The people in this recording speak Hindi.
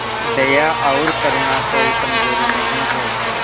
दया और करुणा कोई कमजोरी नहीं है